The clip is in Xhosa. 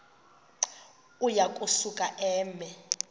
uya kusuka eme